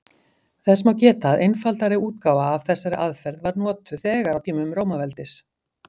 Þess má geta að einfaldari útgáfa af þessari aðferð var notuð þegar á tímum Rómaveldis.